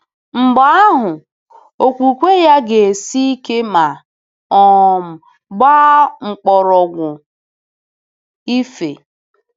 Mgbe ahụ, okwukwe ya ga-esi ike ma um gbaa mkpọrọgwụ.—Efe.